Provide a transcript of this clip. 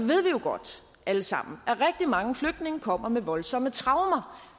ved vi jo godt alle sammen at rigtig mange flygtninge kommer med voldsomme traumer